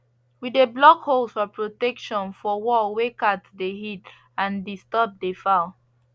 we de block holes for protection for wall wey cats de hid and disturb de fowl